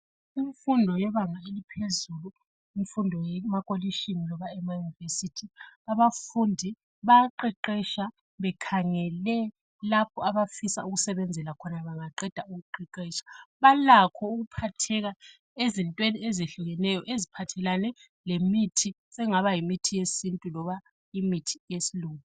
Imfundo yebanga eliphezelu imfundo yemakolitshini loba ema university abafundu bayaqeqetsha bekhangele lapho abafisa ukusebenzela khona bangaqeda ukuqeqetsha balakho ukuphatheka ezintweni ezehlukeneyo ephathelane lemithi sekungaba yimithi yesintu loba imithi yesilungu